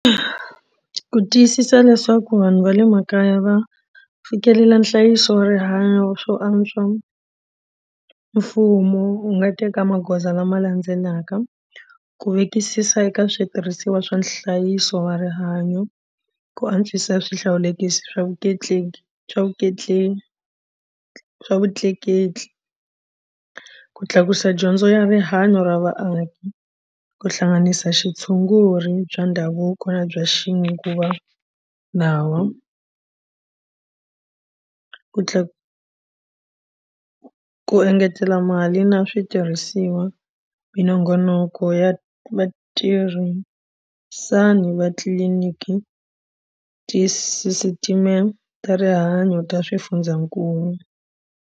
Ku tiyisisa leswaku vanhu va le makaya va fikelela nhlayiso wa rihanyo swo antswa mfumo wu nga teka magoza lama landzelaka ku vekisisa eka switirhisiwa swa nhlayiso wa rihanyo, ku antswisa swihlawulekisi swa vuketleki swa swa vutleketli, ku tlakusa dyondzo ya rihanyo ra vaaki, ku hlanganisa xitshunguri bya ndhavuko na bya xinguvalawa, ku ku engetela mali na switirhisiwa minongonoko ya vatirhisani va tliliniki tisisiteme ta rihanyo ta swifundzankulu.